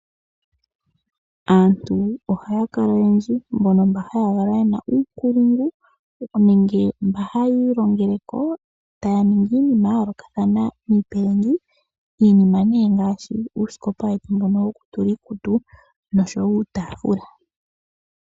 Aantu ohaya kala oyendji, mbono ye na uunkulungu nenge mba hayiilongeleko taya ningi iinima ya yoolokathana miipilangi. Miinima nee ngaashi uusikopa wetu wokutula iikutu nosho wo uutaafula.